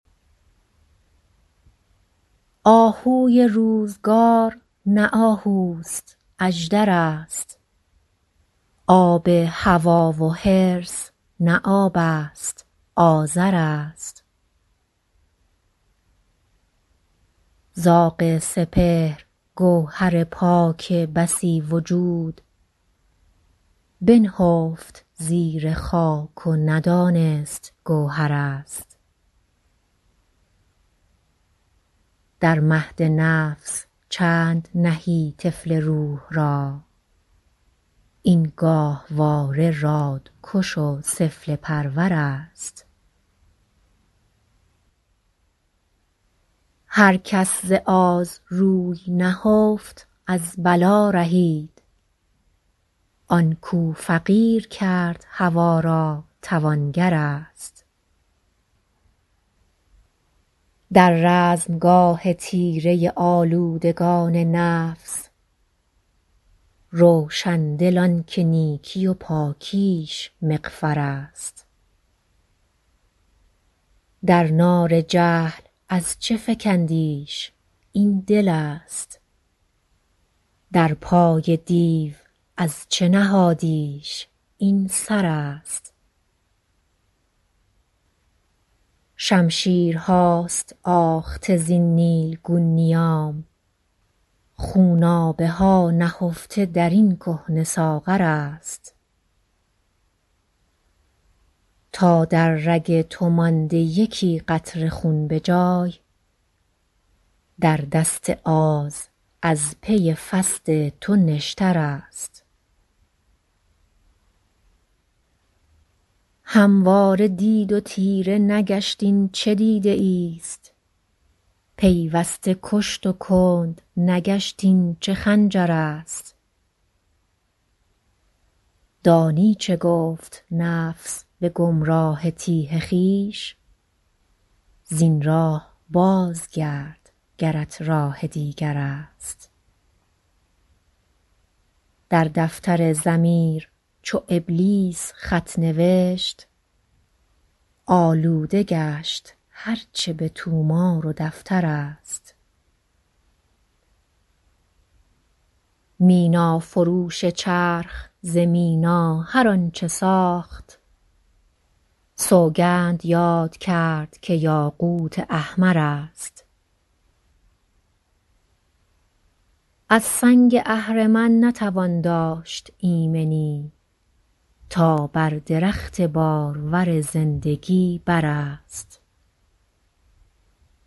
آهوی روزگار نه آهوست اژدر است آب هوی و حرص نه آبست آذر است زاغ سپهر گوهر پاک بسی وجود بنهفت زیر خاک و ندانست گوهر است در مهد نفس چند نهی طفل روح را این گاهواره رادکش و سفله پرور است هر کس ز آز روی نهفت از بلا رهید آنکو فقیر کرد هوای را توانگر است در رزمگاه تیره آلودگان نفس روشندل آنکه نیکی و پاکیش مغفر است در نار جهل از چه فکندیش این دلست در پای دیو از چه نهادیش این سر است شمشیرهاست آخته زین نیلگون نیام خونابه هانهفته در این کهنه ساغر است تا در رگ تو مانده یکی قطره خون بجای در دست آز از پی فصد تو نشتر است همواره دید و تیره نگشت این چه دیده ایست پیوسته کشت و کندنگشت این چه خنجر است دانی چه گفت نفس بگمراه تیه خویش زین راه بازگرد گرت راه دیگر است در دفتر ضمیر چو ابلیس خط نوشت آلوده گشت هرچه بطومار و دفتر است مینا فروش چرخ ز مینا هر آنچه ساخت سوگند یاد کرد که یاقوت احمر است از سنگ اهرمن نتوان داشت ایمنی تا بر درخت بارور زندگی بر است